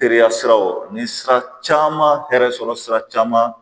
Teriya siraw ni sira caman hɛrɛ sɔrɔ sira caman